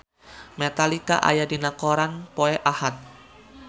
Metallica aya dina koran poe Ahad